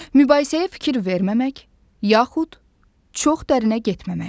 Mübahisəyə fikir verməmək, yaxud çox dərinə getməmək.